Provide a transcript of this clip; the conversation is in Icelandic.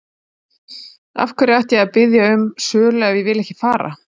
Af hverju ætti ég að biðja um sölu ef ég vill ekki fara?